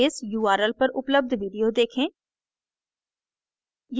इस url पर उपलब्ध video देखें